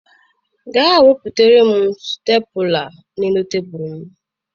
Gaa wetara m Stepụla na tebụl m.